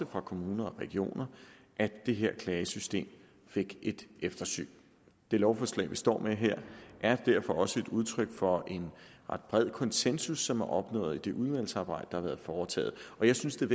og fra kommuner og regioner at det her klagesystem fik et eftersyn det lovforslag vi står med her er derfor også et udtryk for en ret bred konsensus som er opnået i det udvalgsarbejde der har været foretaget jeg synes at